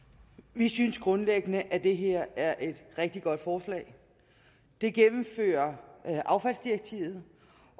vi synes grundlæggende at det her er et rigtig godt forslag det gennemfører affaldsdirektivet